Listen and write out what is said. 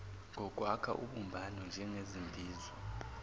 ngokwakha ubumbano njengezimbizo